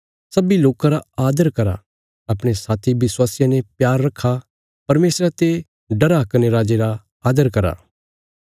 सब्बीं लोकां रा आदर करा अपणे साथी विश्वासियां ने प्यार रखा परमेशरा ते डरा कने राजे रा आदर करा